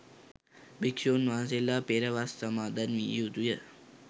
භික්ෂූන් වහන්සේලා පෙර වස් සමාදන් විය යුතුය.